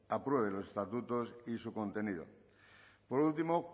apruebe los estatutos y su contenido por último